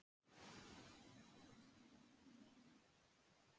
flengingar á börnum eru bannaðar samkvæmt lögum á íslandi